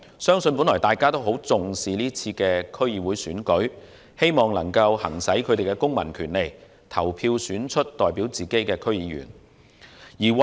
相信大家都十分重視這次區選，希望能夠行使公民權利，投票選出代表自己的區議員。